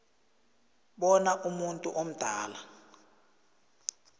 bona umuntu omdala